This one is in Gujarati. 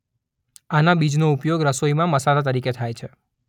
આના બીજનો ઉપયોગ રસોઈમાં મસાલા તરીકે થાય છે.